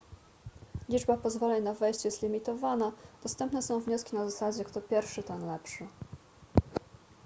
liczba pozwoleń na wejście jest limitowana dostępne są wnioski na zasadzie kto pierwszy ten lepszy